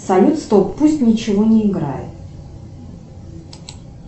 салют стоп пусть ничего не играет